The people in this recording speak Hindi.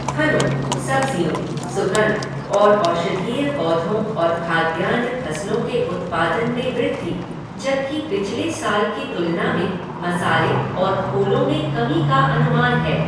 फलों, सब्जियों, सुगंध और औषधीय पौधों और खाद्यान्न फसलों के उत्पादन में वृद्धि, जबकि पिछले साल की तुलना में मसाले और फूलों में कमी का अनुमान है।